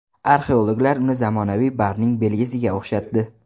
Arxeologlar uni zamonaviy barning belgisiga o‘xshatdi.